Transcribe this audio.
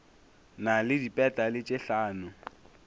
na le dipetale tše hlano